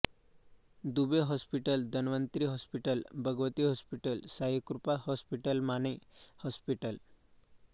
Dubey hospital Dhanvantari hospital Bhagwati hospital Saikrupa हॉस्पिटलमाने hospital